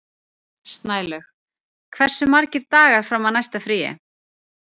Snælaug, hversu margir dagar fram að næsta fríi?